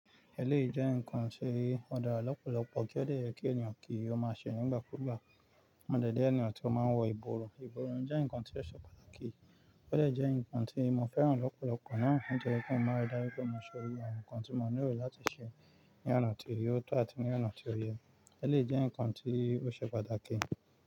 Eléyìí jẹ́ ǹkan ti, ó dára lọ́pọ̀lọpọ̀ kí ó dẹ yẹ kí ènìyàn kí ó máa ṣe nígbàkúùgbà. Mo dẹ̀ jẹ ènìyàn tí ó máa ń wọ ìborùn. Ìborùn jẹ́ ǹkan tí ó ṣe pàtàkì, ó dẹ̀ jẹ́ ǹkan tí mo fẹ́ràn lọ́pọ̀lọpọ̀ náà. Ó jẹ́ kin máa ri dájú pé mo ṣe iru àwọn ǹkan tí mo nílò láti ṣe ní ọ̀nà tí ò tọ àti ní ọ̀nà tí ó yẹ. Ẹlé jẹ́ ǹkan tí ó ṣe pàtàkì.